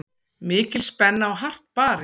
Mikil spenna og hart barist.